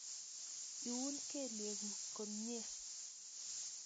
iiun kelyekuk komnye